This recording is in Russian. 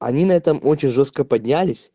они на этом очень жёстко поднялись